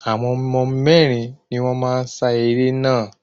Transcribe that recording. Àwọn mérin ni wón n sa eré naa